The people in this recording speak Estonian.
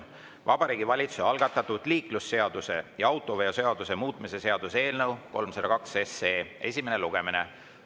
Vabariigi Valitsuse algatatud liiklusseaduse ja autoveoseaduse muutmise seaduse eelnõu 302 esimene lugemine.